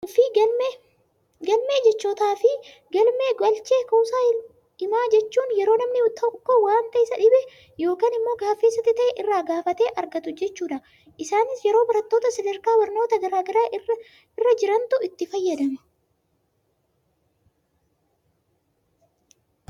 Galmee jechootaa fi galmee galchee kuusaa himaa jechuun, yeroo namni tokko waanta isa dhibe, yookaan immoo gaaffii isatti ta'e, irraa gaafatee argatu jechuudha. Isaanis yeroo barattoota sadarkaa barnootaa garaagaraa irra jirantu itti fayyadama.